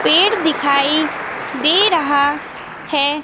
पेड़ दिखाई दे रहा हैं।